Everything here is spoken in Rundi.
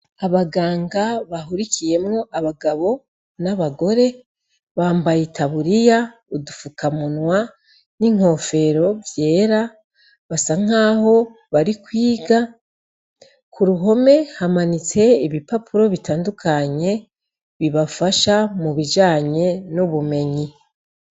Abaganga bahurikiyemwo abagabo nabagore bambaye itaburiya ubufukamunwa n'inkofero vyera basa nkaho bari kwiga kuruhome hamanitse ibipapuro bitandukanye bibafasha mubijanye nubumenyi.